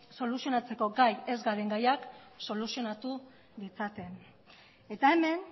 soluzionatzeko gai ez garen gaiak soluzionatu ditzaken eta hemen